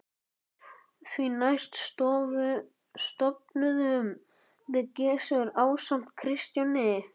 Því næst stofnuðum við Gissur ásamt Kristjáni